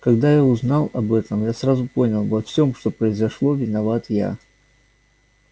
когда я узнал об этом я сразу понял во всем что произошло виноват я